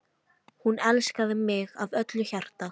Hún elskaði mig af öllu hjarta.